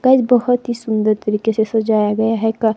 guys बहुत ही सुंदर तरीके से सजाया गया है --